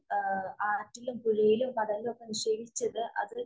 ആറ്റിലും, പുഴയിലും, കടലിലും ഒക്കെ നിക്ഷേപിച്ചത് അത്